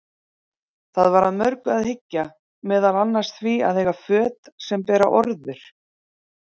Það var að mörgu að hyggja, meðal annars því að eiga föt sem bera orður.